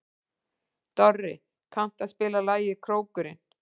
Dorri, kanntu að spila lagið „Krókurinn“?